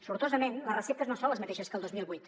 sortosament les receptes no són les mateixes que el dos mil vuit